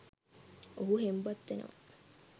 ඔහු හෙම්බත් වෙනවා.